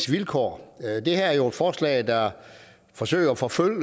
vilkår det her er jo et forslag der forsøger at forfølge